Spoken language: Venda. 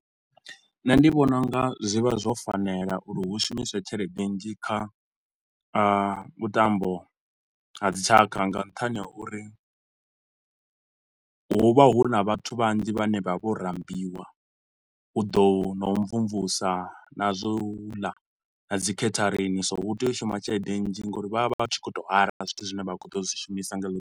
Nṋe ndi vhona u nga zwi vha zwo fanela uri hu shumiswe tshelede nnzhi kha a vhutambo ha dzitshakha nga nṱhani ha uri hu vha hu na vhathu vhanzhi vhane vha vho rambiwa u ḓo na u mvumvusa na zwa u ḽa na dzikheitharini so hu tea u shuma tshelede nnzhi nga uri vha vha vha tshi khou to hayara zwithu zwine vha khou ḓo zwi shumisa nga helo ḓuvha.